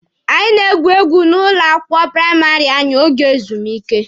Anyi na-egwu egwu n'ụlọ akwụkwọ praịmarị anyị oge ezumike.